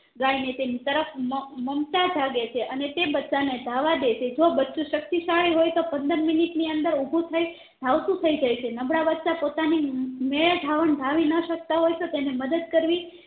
ગાય ને તેની તરફ મમ મમતા જાગે છે અને તે બચ્ચા ને ધાવવા દે છે જો બચ્ચું શક્તિશાળી હોય તો પંદર મિનિટ ની અંદર ઉભું થય ધાવતું થઈ જાય છે નબળા બચ્ચા પોતાની મેં મેળે ધાવણ ધાવી ન શકતા હોય તો તે ને મદદ કરવી